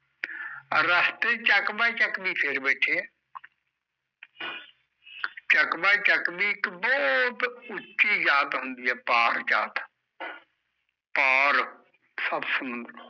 ਰਸਤੇ ਚ ਚੱਕ ਬਾਈ ਚੱਕਵੀ ਫੇਰ ਬੈਠੇ ਐ ਚੱਕ ਬਾਈ ਚੱਕਵੀ ਇੱਕ ਬਹੁਤ ਉੱਚੀ ਜਾਤ ਹੁੰਦੀ ਐ ਪਾਰ ਜਾਤ ਪਾਰ ਸੱਤ ਸਮੁੰਦਰੋਂ